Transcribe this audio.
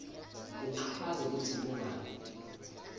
uchaze kutsi kungani